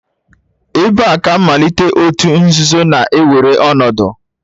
Ebee ka mmalite òtù nzuzo na-ewere ọnọdụ?